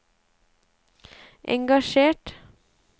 engasjert